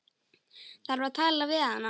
Þarf að tala við hana.